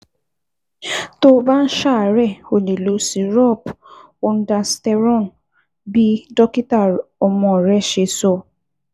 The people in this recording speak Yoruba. Tó o bá ń ṣàárẹ̀, o lè lo cs] Syrup Ondansetron bí dókítà ọmọ rẹ ṣe sọ